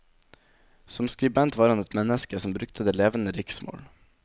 Som skribent var han et menneske som brukte det levende riksmål.